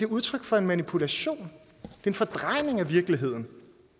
udtryk for manipulation og en fordrejning af virkeligheden